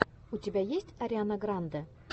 у тебя есть ариана гранде